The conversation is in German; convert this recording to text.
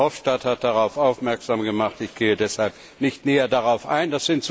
Herr Verhofstadt hat darauf aufmerksamen gemacht, ich gehe deshalb nicht näher darauf ein.